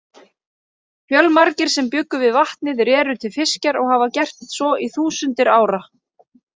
Fjölmargir sem bjuggu við vatnið réru til fiskjar og hafa gert svo í þúsundir ára.